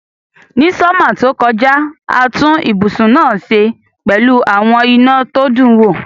Ni summer tó kojá, a tun ibùsùn náà se pẹ́lu àwon iná to dun wo